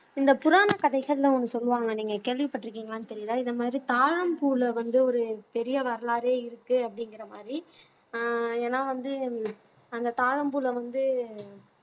இந்த புராணக் கதைகள்ல ஒண்ணு சொல்லுவாங்க நீங்க கேள்விப்பட்டிருக்கீங்களான்னு தெரியலே இந்த மாதிரி தாழம்பூவிலே வந்து ஒரு பெரிய வரலாறே இருக்கு அப்படிங்கிற மாதிரி ஆஹ் ஏன்னா வந்து அந்த தாழம்பூல வந்து